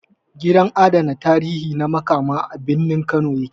Gidan adana tarihi na Makama, a birnin Kano ya ke